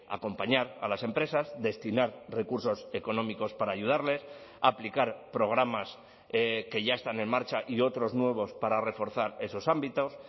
acompañar a las empresas destinar recursos económicos para ayudarles aplicar programas que ya están en marcha y otros nuevos para reforzar esos ámbitos